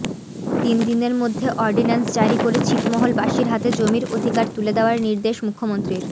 তিন দিনের মধ্যে অর্ডিন্যান্স জারি করে ছিটমহলবাসীর হাতে জমির অধিকার তুলে দেওয়ার নির্দেশ মুখ্যমন্ত্রীর